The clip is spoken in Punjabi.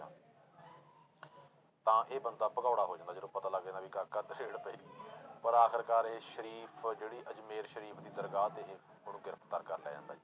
ਤਾਂ ਇਹ ਬੰਦਾ ਭਗੋੜਾ ਹੋ ਜਾਂਦਾ ਜਦੋਂ ਪਤਾ ਲੱਗ ਜਾਂਦਾ ਵੀ ਪਰ ਆਖਿਰਕਾਰ ਇਹ ਸਰੀਫ਼ ਜਿਹੜੀ ਅਜ਼ਮੇਰ ਸਰੀਫ਼ ਦੀ ਦਰਗਾਹ ਤੇ ਇਹ ਉਹਨੂੰ ਗ੍ਰਿਫ਼ਤਾਰ ਕਰ ਲਿਆ ਜਾਂਦਾ।